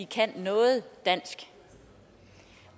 kan noget dansk